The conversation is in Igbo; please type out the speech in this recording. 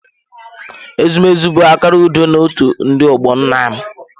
Ezumezu bụ akara udo na otu ndị ọgbọ nna m.